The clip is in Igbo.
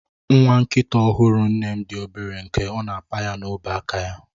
Nwa nkita ọhụrụ nne m dị obere nke na ọ na apa ya n'ọba aka ya.